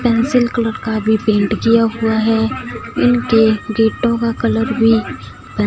pencil colour का भी paint किया हुआ है इनके गेटों का कलर भी ब--